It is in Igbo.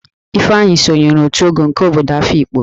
Ifeanyi sonyere òtù Ogo nke obodo Afịkpo